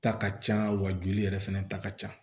Ta ka ca wa joli yɛrɛ fɛnɛ ta ka ca